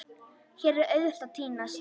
Hér er auðvelt að týnast.